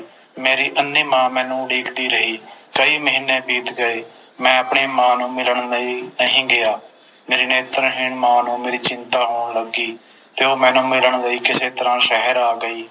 ਮੇਰੀ ਅੰਨ੍ਹੀ ਮਾਂ ਮੈਨੂੰ ਉਡੀਕਦੀ ਰਹੀ ਕਈ ਮਹੀਨੇ ਬੀਤ ਗਏ ਮੈਂ ਆਪਣੀ ਮਾਂ ਨੂੰ ਮਿਲਣ ਲਈ ਨਹੀਂ ਗਿਆ ਮੇਰੀ ਨੇਤਰਹੀਣ ਮਾਂ ਨੂੰ ਮੇਰੀ ਚਿੰਤਾ ਹੋਣ ਲੱਗੀ ਤੇ ਉਹ ਮੈਨੂੰ ਮਿਲਣ ਲਈ ਕਿਸੇ ਤਰ੍ਹਾਂ ਸ਼ਹਿਰ ਆ ਗਈ